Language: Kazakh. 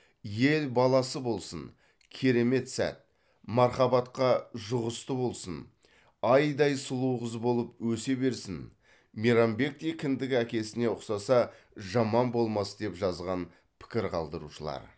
ел баласы болсын керемет сәт мархабатқа жұғысты болсын айдай сұлу қыз болып өсе берсін мейрамбектей кіндік әкесіне ұқсаса жаман болмас деп жазған пікір қалдырушылар